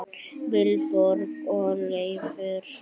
Vilborg og Leifur.